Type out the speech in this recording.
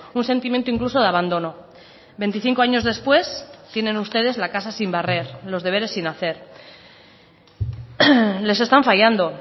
un sentimiento incluso de abandono veinticinco años después tienen ustedes la casa sin barrer los deberes sin hacer les están fallando